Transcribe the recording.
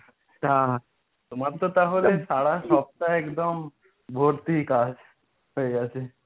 তা তোমার তো তাহলে সারা সপ্তাহে একদম ভর্তি কাজ হয়ে গেছে।